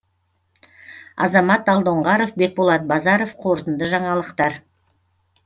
азамат алдоңғаров бекболат базаров қорытынды жаңалықтар